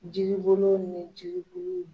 Jiribolo ni jiribulu